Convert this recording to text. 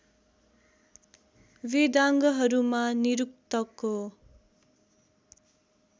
वेदांगहरूमा निरुक्तको